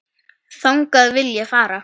Þangað vil ég fara.